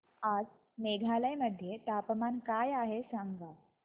आज मेघालय मध्ये तापमान काय आहे सांगा